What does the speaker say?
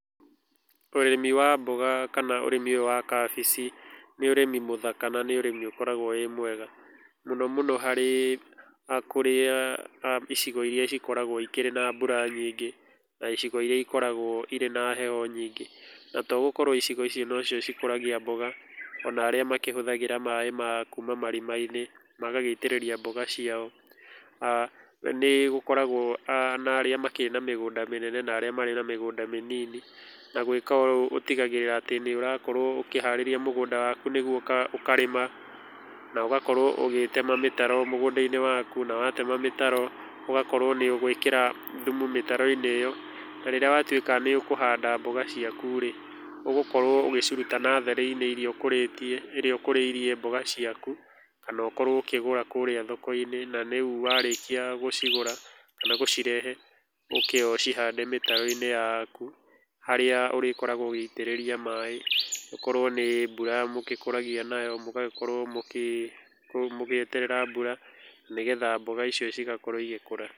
Ũrĩmi wa mboga kana ũrĩmi ũyũ wa kabici nĩ ũrĩmi mũthaka kana ũkoragwo wĩ mwega mũno mũno harĩ kũrĩa ĩcigo irĩa ĩkoragwo na mbũra nyingĩ na icigo irĩa ikoragwo na heho nyingĩ na togũkorwo icigo icio no cio ĩkũragia mbũga ona arĩa makĩhũthagĩra maĩ ma kũma marima inĩ magagĩitĩrĩria mbũga cio nĩ gũkoragwo na aah na arĩa makĩrĩ na mĩgũnda mĩnene na arĩa magĩkoragwo na mĩgũnda mĩnini na ũtĩgagĩrĩra atĩ nĩ ũrakorwo ũkĩharĩrĩrga mũgũnda wakũ nĩ gũo ũ karĩma no ũgakorwo ũgĩtema mĩtaro mĩgũnda-inĩ wakũ na watema mĩtaro ũgakorwo nĩ ũgũĩkĩra thũmũ mĩtaro-inĩ ĩyo na rĩrĩa watũĩka nĩ ũkũhanda mbũga ciakũ rĩ, ũgũkorwo ũ gĩcirũta natharĩ-inĩ ĩrĩa ũkũrĩirie mbũga ciakũ kana ũkorwo ũkĩgũra kũu thoko-inĩ warĩkia gũcigũra kana gũcirehe oke ũcĩhande mĩtaro inĩ yakũ harĩa ũrĩkoragwo ũgĩitĩrĩria maĩ o korwo nĩ mbũra mũgĩkũragia nayo mũgagĩkorwo mũgĩ mũgĩeterera mbũra na nĩgetha mboga icio igakorwo igĩkũra.